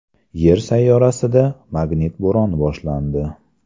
Yer sayyorasida magnit bo‘roni boshlandi.